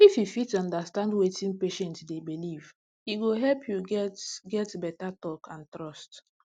if you fit understand wetin patient dey believe e go help you get get beta talk and trust